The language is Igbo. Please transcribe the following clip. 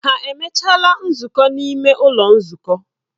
Ha emechaala nzukọ n'ime ụlọ nzukọ?